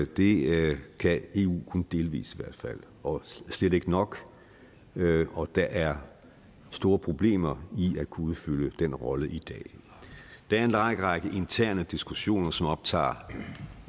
det kan eu kun delvis i hvert fald og slet ikke nok og der er store problemer i at kunne udfylde den rolle i dag der er en lang række interne diskussioner som optager